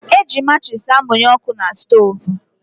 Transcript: Eji matchis amunye ọkụ na stoovú.